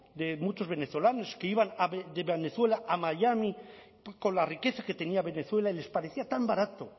de muchos venezolanos que iban de venezuela a miami con la riqueza que tenía venezuela y les parecía tan barato